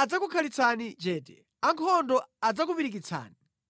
adzakukhalitsani chete; ankhondo adzakupirikitsani.